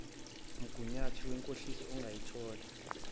mgunyathi wenkohliso ungaluthola